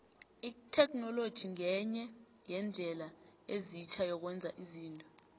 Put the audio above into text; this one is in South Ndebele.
itheknoloji ngenye yeendlela ezitjha zokwenza izinto